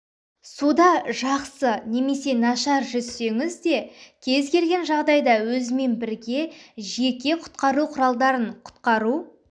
суда жақсы немесе нашар жүзсеңіз де кез келген жағдайда өзімен бірге жеке құтқару құралдарын құтқару